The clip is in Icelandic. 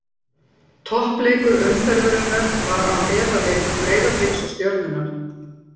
Toppleikur umferðarinnar var án efa leikur Breiðabliks og Stjörnunnar.